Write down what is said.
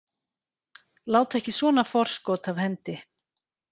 Láta ekki svona forskot af hendi